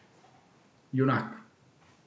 Junak.